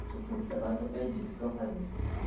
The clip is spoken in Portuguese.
Falou, putz, agora eu estou perdido, o que é que eu vou fazer?